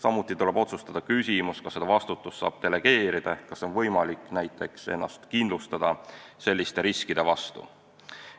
Samuti tuleb otsustada küsimus, kas seda vastutust saab delegeerida ehk kas on võimalik näiteks ennast kindlustada selliste riskide vastu.